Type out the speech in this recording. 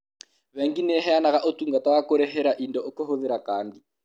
Bengi nĩ ĩheanaga ũtungata wa kũrĩhĩra indo kũhũthĩra kandi.